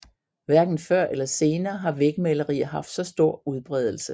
Hverken før eller senere har vægmalerier haft så stor udbredelse